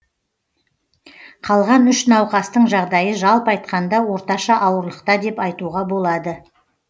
қалған үш науқастың жағдайы жалпы айтқанда орташа ауырлықта деп айтуға болады